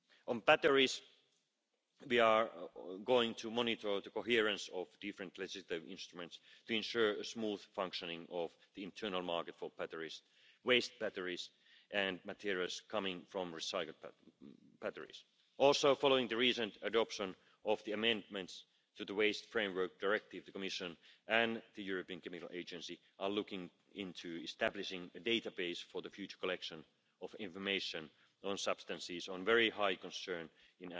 On batteries, we are going to monitor the coherence of different legislative instruments to ensure a smooth functioning of the internal market for batteries, waste batteries and materials coming from recycled batteries. Also, following the recent adoption of the amendments to the Waste Framework Directive, the Commission and the European Chemicals Agency are looking into establishing a database for the future collection of information on substances of very high concern